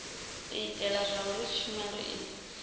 u itela zwauri tshumelo i